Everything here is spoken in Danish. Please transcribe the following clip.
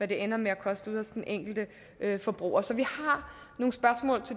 det ender med at koste ude hos den enkelte forbruger så vi